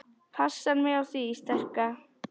Passa mig á því sterka.